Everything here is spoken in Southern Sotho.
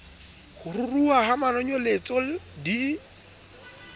ho ruruha ha manonyeletso di